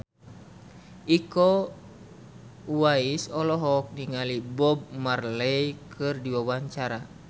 Iko Uwais olohok ningali Bob Marley keur diwawancara